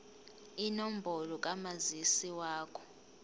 inombolo kamazisi wakho